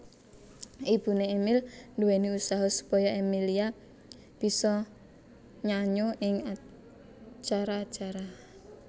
Ibuné Emil nduwéni usaha supaya Emillia bisa nyanyo ing acara acara